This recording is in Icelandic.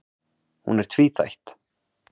Hún er tvíþætt